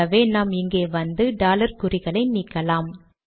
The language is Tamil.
ஆகவே நாம் இங்கே வந்து டாலர் குறிகளை நீக்கலாம்